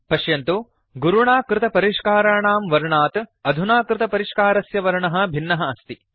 पश्यन्तु गुरुणा कृतपरिष्काराणां वर्णात् अधुना कृतपरिष्कारस्य वर्णः भिन्नः अस्ति